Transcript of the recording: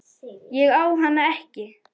Ég á hana ekki.